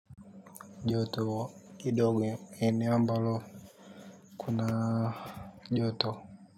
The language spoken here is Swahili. Joto kidogo. Eneo ambalo Kuna Joto.